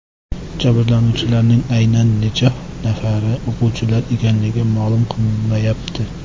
Jabrlanuvchilarning aynan necha nafari o‘quvchilar ekanligi ma’lum qilinmayapti.